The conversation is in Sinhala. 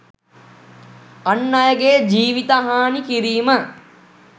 අන් අයගේ ජීවිතහානි කිරීම